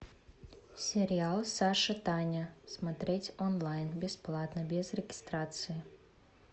сериал саша таня смотреть онлайн бесплатно без регистрации